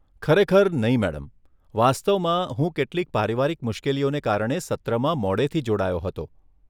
ખરેખર નહીં, મેડમ, વાસ્તવમાં, હું કેટલીક પારિવારિક મુશ્કેલીઓને કારણે સત્રમાં મોડેથી જોડાયો હતો.